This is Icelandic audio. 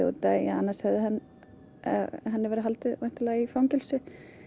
annars hefði henni verið haldið í fangelsi